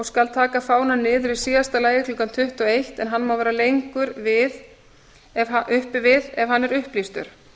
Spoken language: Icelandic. skal taka fánann niður í síðasta lagi klukkan tuttugu og eitt en hann má vera lengur uppi við ef hann er upplýstur